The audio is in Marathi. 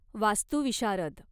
वास्तुविशारद